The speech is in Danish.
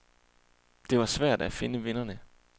Det var svært at finde vinderne.